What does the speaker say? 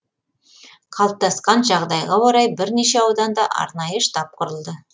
қалыптасқан жағдайға орай бірнеше ауданда арнайы штаб құрылды